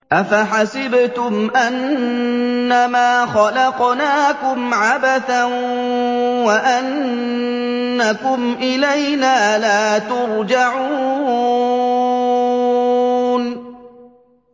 أَفَحَسِبْتُمْ أَنَّمَا خَلَقْنَاكُمْ عَبَثًا وَأَنَّكُمْ إِلَيْنَا لَا تُرْجَعُونَ